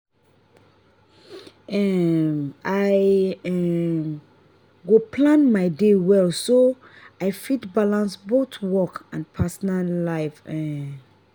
um i um go plan my day well so i fit balance both work and personal life. um